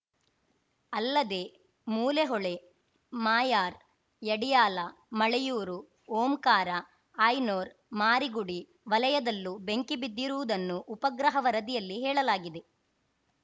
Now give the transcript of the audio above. ಅಲ್ಲದೆ ಮೂಲೆ ಹೊಳೆ ಮಾಯಾರ್‌ ಯಡಿಯಾಲ ಮಳೆಯೂರು ಓಂಕಾರ ಅಯ್‌ನೊರ್‌ ಮಾರಿಗುಡಿ ವಲಯದಲ್ಲೂ ಬೆಂಕಿ ಬಿದ್ದಿರುವುದನ್ನು ಉಪಗ್ರಹ ವರದಿಯಲ್ಲಿ ಹೇಳಲಾಗಿದೆ